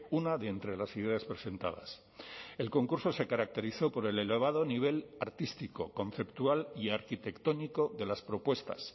una de entre las ideas presentadas el concurso se caracterizó por el elevado nivel artístico conceptual y arquitectónico de las propuestas